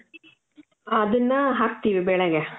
ಅದನ್ನಾ ಹಾಕ್ತೀವಿ ಬೇಳೆಗೆ.